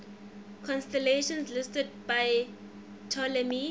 constellations listed by ptolemy